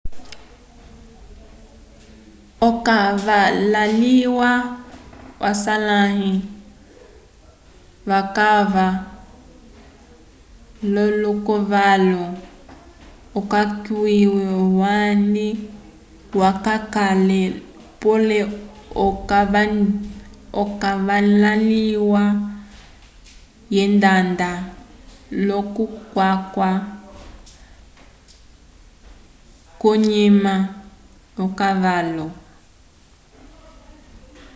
okavalaliya aswalãli vayaka l'olokavalu okayike handi hayakale pole okavalaliya yendanda l'okuyaka k'onyima yolokavalu